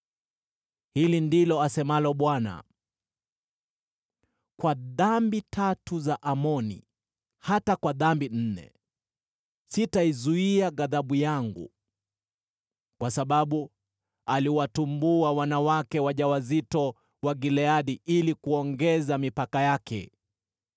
Hili ndilo asemalo Bwana : “Kwa dhambi tatu za Amoni, hata kwa dhambi nne, sitaizuia ghadhabu yangu. Kwa sababu aliwatumbua wanawake wajawazito wa Gileadi ili kuongeza mipaka yake.